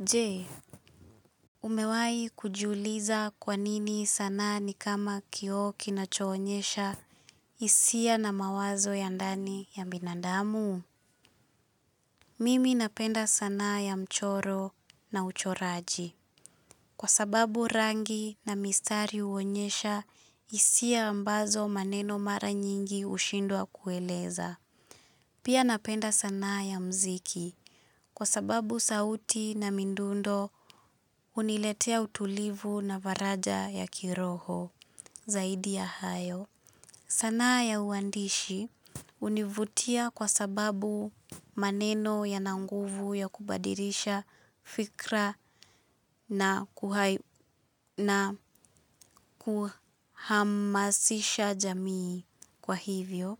Je, umewahi kujiuliza kwa nini sanaa ni kama kioo kinachoonyesha hisia na mawazo ya ndani ya binadamu? Mimi napenda sanaa ya mchoro na uchoraji. Kwa sababu rangi na mistari huonyesha hisia ambazo maneno mara nyingi hushindwa kueleza. Pia napenda sanaa ya muziki kwa sababu sauti na midundo huniletea utulivu na faraja ya kiroho zaidi ya hayo. Sanaa ya uandishi hunivutia kwa sababu maneno yana nguvu ya kubadilisha fikra na na kuhamasisha jamii kwa hivyo.